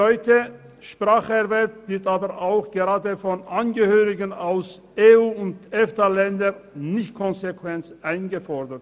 Der Spracherwerb wird aber von Angehörigen aus EU- und EFTALändern nicht konsequent eingefordert.